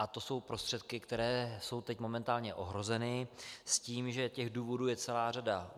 A to jsou prostředky, které jsou teď momentálně ohroženy s tím, že těch důvodů je celá řada.